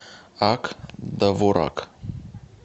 ак довурак